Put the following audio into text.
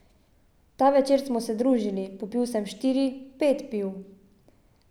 Ta večer smo se družili, popil sem štiri, pet piv.